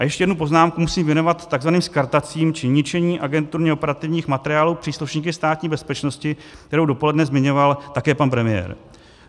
A ještě jednu poznámku musím věnovat tzv. skartacím či ničení agenturně operativních materiálů příslušníky Státní bezpečnosti, kterou dopoledne zmiňoval také pan premiér.